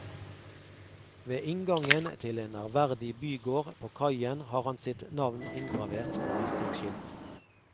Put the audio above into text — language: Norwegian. Ved inngangen til en ærverdig bygård på kaien har han sitt navn inngravert på messingskilt.